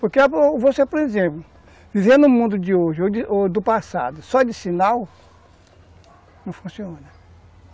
Porque você, por exemplo, viver no mundo de hoje ou do passado só de sinal não funciona.